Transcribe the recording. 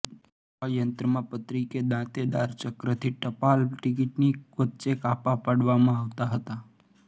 આ યંત્રમાં પતરી કે દાંતેદાર ચક્રથી ટપાલ ટિકિટની વચ્ચે કાપા પાડવામા આવતા હતાં